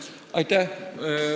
Aitäh!